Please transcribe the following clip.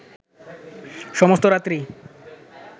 সমস্ত রাত্রি